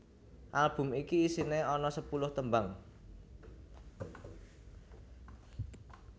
Album iki isiné ana sepuluh tembang